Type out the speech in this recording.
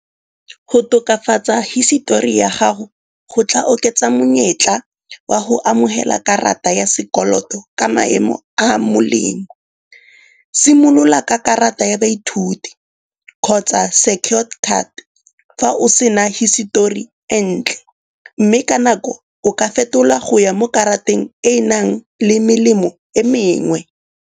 Go tokafatsa hisetori ya gago go tla oketsa monyetla wa go amogela karata ya sekoloto ka maemo a a molemo. Simolola ka karata ya baithuti kgotsa secured card fa o sena hisetori e ntle. Mme ka nako o ka fetola go ya mo karateng e e nang le melemo e mengwe.